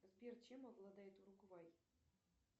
сбер чем обладает уругвай